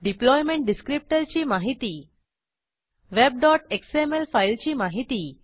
deployment डिसक्रिप्टरची माहिती webएक्सएमएल फाईलची माहिती